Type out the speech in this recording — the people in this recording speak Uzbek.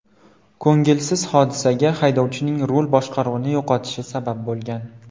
Ko‘ngilsiz hodisaga haydovchining rul boshqaruvini yo‘qotishi sabab bo‘lgan.